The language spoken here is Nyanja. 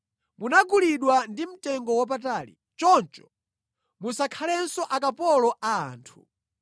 Munagulidwa ndi mtengowapatali, choncho musakhalenso akapolo a anthu.